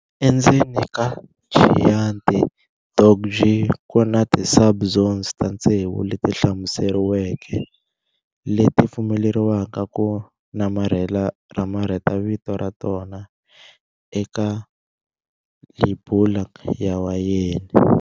Endzeni ka Chianti DOCG kuna ti sub-zone ta tsevu leti hlamuseriweke leti pfumeleriwaka ku namarheta vito ra tona eka lebula ya wayeni.